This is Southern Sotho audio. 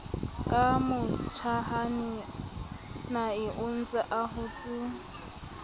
ka motjhanae ontse a hotse